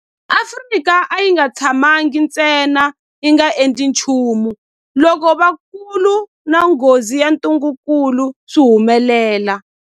Afrika a yi nga tshamangi ntsena yi nga endli nchumu loko vukulu na nghozi ya ntungukulu swi humelela.